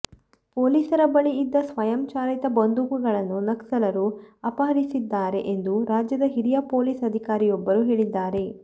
ಪೊಲೀಸರ ಬಳಿ ಇದ್ದ ಸ್ವಯಂಚಾಲಿತ ಬಂದೂಕುಗಳನ್ನೂ ನಕ್ಸಲರು ಅಪಹರಿಸಿದ್ದಾರೆ ಎಂದು ರಾಜ್ಯದ ಹಿರಿಯ ಪೊಲೀಸ್ ಅಧಿಕಾರಿಯೊಬ್ಬರು ಹೇಳಿದ್ದಾರೆ